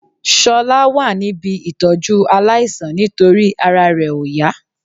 Ṣọlá wà níbí ìtọ́jú aláìsàn nítorí ara rẹ ò yá